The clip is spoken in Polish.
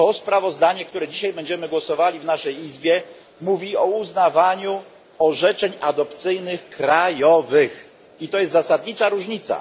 Sprawozdanie, nad którym dzisiaj będziemy głosowali w naszej Izbie mówi o uznawaniu krajowych orzeczeń adopcyjnych, i to jest zasadnicza różnica.